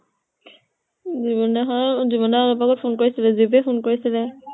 যুবনা হঁত ? যুবনা বাপেকে phone কৰিছিলে । যতিয়ে phone কৰিছিলে ।